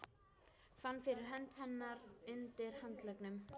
Fann fyrir hönd hennar undir handleggnum.